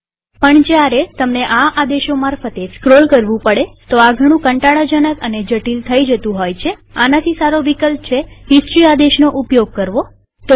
પણ જયારે તમને ઘણા આદેશો મારફતે સ્ક્રોલ કરવું પડે તો આ ઘણું કંટાળા જનક અને જટિલ થઇ જતું હોય છેઆનાથી સારો વિકલ્પ છે હિસ્ટરી આદેશનો ઉપયોગ કરવો